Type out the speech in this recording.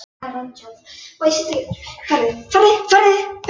Snilldarmaður og skáld sem gengur í augun á kvenfólkinu.